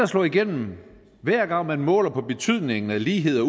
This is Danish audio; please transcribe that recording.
slå igennem hver gang man måler på betydningen af lighed og